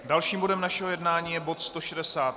Dalším bodem našeho jednání je bod